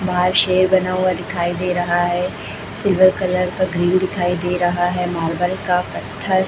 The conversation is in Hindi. वहां शेर बना हुआ दिखाई दे रहा है सिल्वर कलर का ग्रिल दिखाई दे रहा है मार्बल का पत्थर --